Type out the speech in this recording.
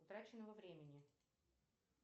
утраченного времени